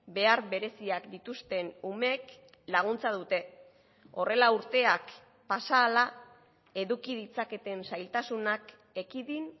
behar bereziak dituzten umeek laguntza dute horrela urteak pasa ahala eduki ditzaketen zailtasunak ekidin